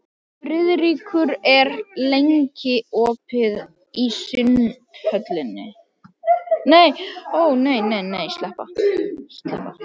Friðríkur, hvað er lengi opið í Sundhöllinni?